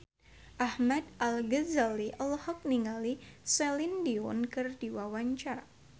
Ahmad Al-Ghazali olohok ningali Celine Dion keur diwawancara